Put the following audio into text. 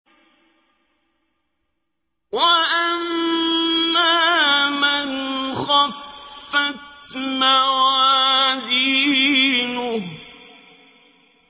وَأَمَّا مَنْ خَفَّتْ مَوَازِينُهُ